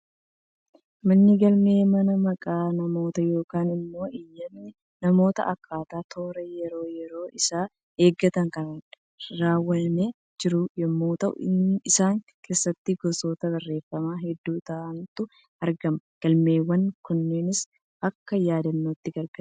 Manni galmee, mana maqaan namootaa yookaan immoo iyyatni namootaa akkaataa toora yeroo, yeroo isaa eeggateen kan keewwamee jiru yemmuu ta'u, isa keessattis gosoota barreeffamaa hedduu ta'antu argama. Galmeewwan kunneenis akka yaadannootti gargaaru.